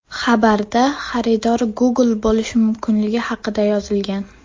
Xabarda xaridor Google bo‘lishi mumkinligi haqida yozilgan.